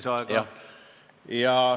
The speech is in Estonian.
Kolm minutit lisaaega.